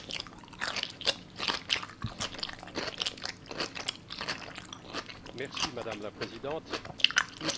Madame la Présidente, nous sommes en début de législature et je veux dénoncer deux dysfonctionnements.